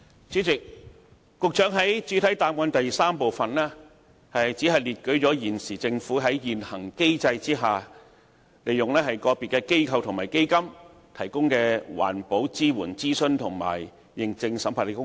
主席，局長在主體答覆第三部分只列舉了現時政府在現行機制下，利用個別機構和基金提供的環保支援、諮詢及認證審核的工作。